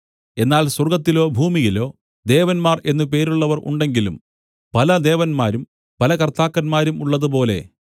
എന്നാൽ സ്വർഗ്ഗത്തിലോ ഭൂമിയിലോ ദേവന്മാർ എന്ന് പേരുള്ളവർ ഉണ്ടെങ്കിലും പല ദേവന്മാരും പല കർത്താക്കന്മാരും ഉള്ളതുപോലെ